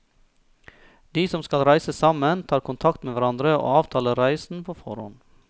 De som skal reise sammen, tar kontakt med hverandre og avtaler reisen på forhånd.